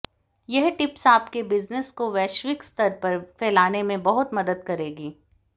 यह टिप्स आपके बिजनेस को वैश्विक स्तर पर फैलाने में बहुत मदद करेंगी